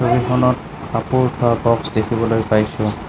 ছবিখনত কাপোৰ থোৱা বক্স দেখিবলৈ পাইছোঁ।